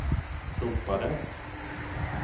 ropade